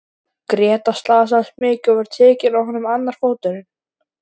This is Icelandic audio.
Grétar slasaðist mikið og var tekinn af honum annar fóturinn.